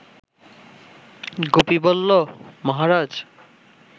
গুপি বলল, মহারাজ